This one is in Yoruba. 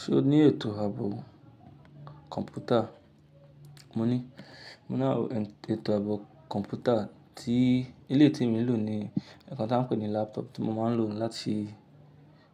Ṣo ní ètò ààbò kọ̀ǹpútà? Mo ní, mo ní ààbò ètò ààbò kọ̀ǹpútà tí eleyii tí mi n lò ní nkan tí s ń pè ní laptop tí mo máa ń lò láti